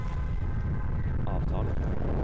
avtaler